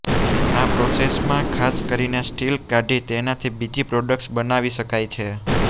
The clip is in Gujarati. આ પ્રોસેસમાં ખાસ કરીને સ્ટીલ કાઢી તેનાથી બીજી પ્રોડક્ટ્સ બનાવી શકાય છે